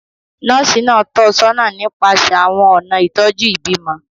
Nọ́ọ̀sì náà tọ́ ọ sọ́nà nípasẹ̀ àwọn ọ̀nà ìtọ́jú ìbímọ.